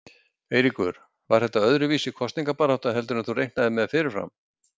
Eiríkur: Var þetta öðruvísi kosningabarátta heldur en þú reiknaðir með fyrirfram?